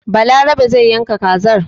Balarabe zai yanka kazar.